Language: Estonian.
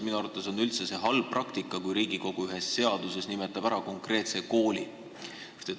Minu arvates on see üldse halb praktika, kui Riigikogu nimetab ühes seaduses ära konkreetse kooli.